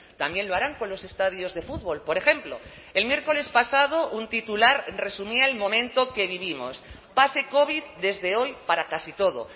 también lo harán con los estadios de fútbol por ejemplo el miércoles pasado un titular resumía el momento que vivimos pase covid desde hoy para casi todo